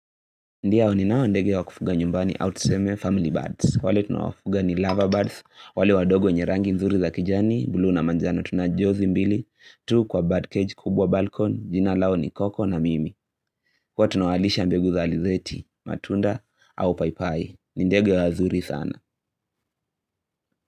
Ndiyo ninao ndege wa kufuga nyumbani au tuseme family birds. Wale tunawafuga ni lover birds, wale wadogo wenye rangi nzuri za kijani, buluu na manjano tunajozi mbili, tu kwa birdcage kubwa balkon, jina lao ni koko na mimi. Kwa tunawalisha mbegu za alizeti, matunda au paipai. Nindege wazuri sana.